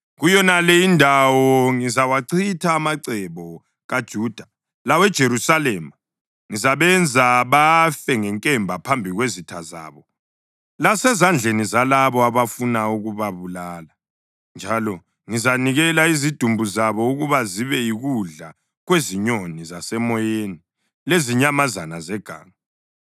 Kuyonale indawo ngizawachitha amacebo kaJuda laweJerusalema. Ngizabenza bafe ngenkemba phambi kwezitha zabo, lasezandleni zalabo abafuna ukubabulala, njalo ngizanikela izidumbu zabo ukuba zibe yikudla kwezinyoni zasemoyeni lezinyamazana zeganga.